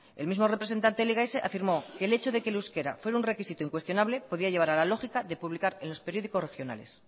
el mismo representante de lks afirmó que el hecho de que el euskera fuera un requisito incuestionable podía lleva a la lógica de publicar en los periódicos regionales